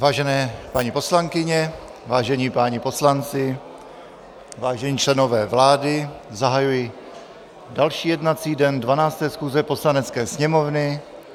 Vážené paní poslankyně, vážení páni poslanci, vážení členové vlády, zahajuji další jednací den 12. schůze Poslanecké sněmovny.